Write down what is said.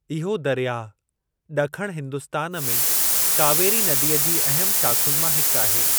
इहो दरियाह ॾखण हिन्दुस्तान में कावेरी नदीअ जी अहमु शाख़ुनि मां हिकु आहे।